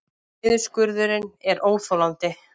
Niðurskurðurinn er óþolandi